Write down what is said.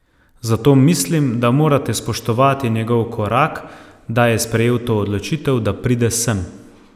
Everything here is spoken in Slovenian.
Zato mislim, da morate spoštovati njegov korak, da je sprejel to odločitev, da pride sem.